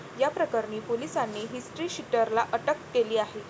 याप्रकरणी पोलिसांनी हिस्ट्रीशीटरला अटक केली आहे.